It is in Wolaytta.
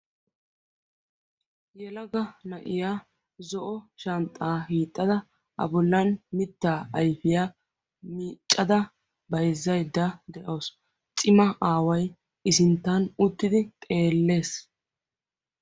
Yelaga na"iyaa zo"o shanxxaa hiixxada A bollan mittaa ayfiyaa miccada bayzzaydda de"awus. Cima aawa I sinttan uttidi xeellees.